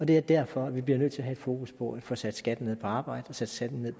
det er derfor vi bliver nødt til at have et fokus på at få sat skatten ned på arbejde og sat skatten ned